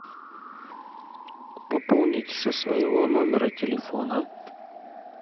пополнить со своего номера телефона